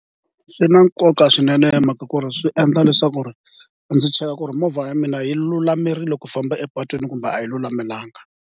Swi na nkoka swinene hi mhaka ku ri swi endla leswaku ndzi cheka ku ri movha ya mina yi lulamerile ku famba epatwini kumbe a yi lulamelanga.